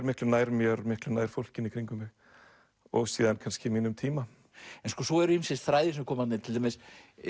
miklu nær mér og miklu nær fólkinu í kringum mig og síðan kannski mínum tíma svo eru ýmsir þræðir sem koma þarna inn til dæmis